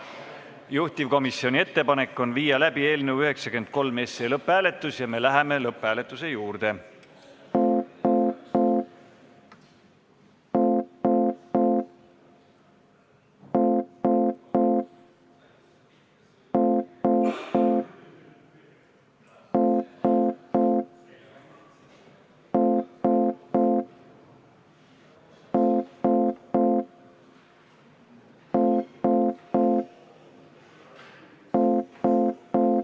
Juhtivkomisjoni ettepanek on viia läbi eelnõu 93 lõpphääletus ja me läheme selle juurde.